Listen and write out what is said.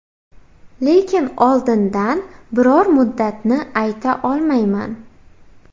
Lekin oldindan biror muddatni ayta olmayman.